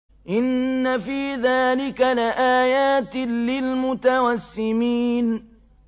إِنَّ فِي ذَٰلِكَ لَآيَاتٍ لِّلْمُتَوَسِّمِينَ